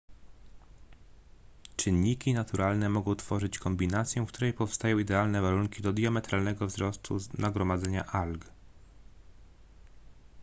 czynniki naturalne mogą tworzyć kombinację w której powstają idealne warunki do diametralnego wzrostu nagromadzenia alg